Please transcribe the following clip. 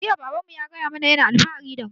Jiya baban mu ya gaya mana yana alfahari da mu